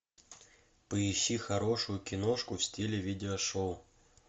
поищи хорошую киношку в стиле видеошоу